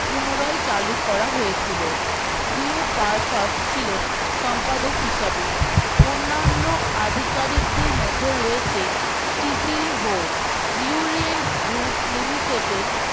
পুনরায় চালু করা হয়েছিল wee parpar ছিলেন সম্পাদক হিসাবে অন্নান্য আধিকারিকদের মধ্যে রয়েছে group limited এর